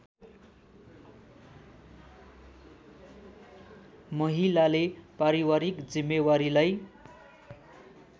महिलाले पारिवारिक जिम्मेवारीलाई